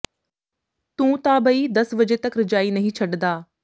ਤੂੰ ਤਾਂ ਬਈ ਦਸ ਵਜੇ ਤੱਕ ਰਜਾਈ ਨਈਂ ਛੱਡਦਾ